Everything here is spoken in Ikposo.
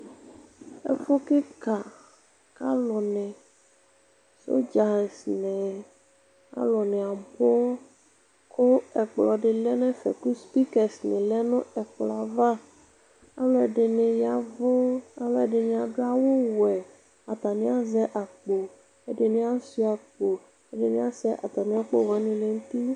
ɛfu keka k'alò ni sɔdza ni alò ni abu kò ɛkplɔ di lɛ n'ɛfɛ kò spikɛs ni lɛ no ɛkplɔɛ ava ɔlò ɛdini ya vu alò ɛdini adu awu wɛ atani azɛ akpo ɛdini asua akpo ɛdini asɛ atami akpo wani lɛ n'uti.